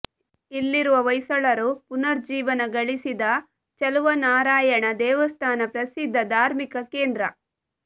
ಇಲ್ಲಿರುವ ಹೊಯ್ಸಳರು ಪುನರುಜ್ಜೀವನ ಗಳಿಸಿದ ಚಲುವನಾರಯಣ ದೇವಸ್ಥಾನ ಪ್ರಸಿದ್ಧ ಧಾರ್ಮಿಕ ಕೆಂದ್ರ